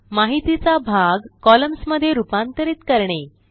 माहितीचा भाग कॉलम्न्स मध्ये रूपांतरित करणे